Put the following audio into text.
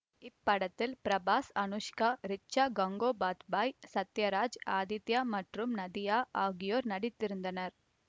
இப்படத்தில் பிரபாஸ் அனுஷ்கா ரிச்சா கங்கோபாத்யாய் சத்யராஜ் ஆதித்யா மற்றும் நதியா ஆகியோர் நடித்திருந்தனர்